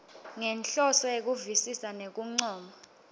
ngenhloso yekuvisisa nekuncoma